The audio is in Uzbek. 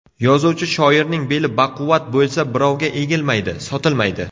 Yozuvchi shoirning beli baquvvat bo‘lsa, birovga egilmaydi, sotilmaydi .